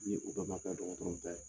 Ni u bɛɛ ma kɛ dɔgɔtɔrɔ ta ye